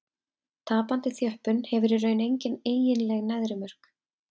Tapandi þjöppun hefur í raun engin eiginleg neðri mörk.